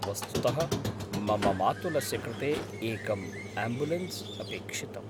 वस्तुतः, मम मातुलस्य कृते एकम् आम्बुलेन्स् अपेक्षितम्।